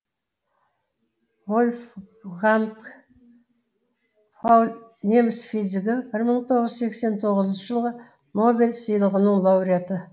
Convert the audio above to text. вольфганг пауль неміс физигі бір мың тоғыз жүз сексен тоғызыншы жылғы нобель сыйлығының лауреаты